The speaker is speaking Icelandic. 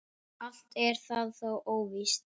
Allt er það þó óvíst.